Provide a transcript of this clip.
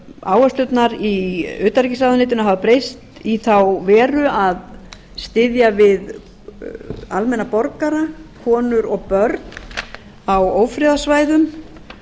áherslurnar í utanríkisráðuneytinu hafa breyst í þá veru að styðja við almenna borgara konur og börn á ófriðarsvæðum